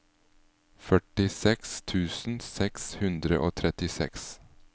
førtiseks tusen seks hundre og trettiseks